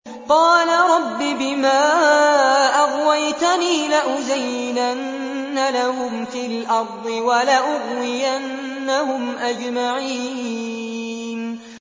قَالَ رَبِّ بِمَا أَغْوَيْتَنِي لَأُزَيِّنَنَّ لَهُمْ فِي الْأَرْضِ وَلَأُغْوِيَنَّهُمْ أَجْمَعِينَ